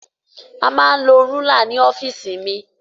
A máa ń lo rúlà ní ọ́fìsì mi.